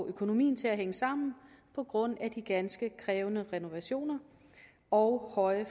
økonomien til at hænge sammen på grund af de ganske krævende renovationer og høje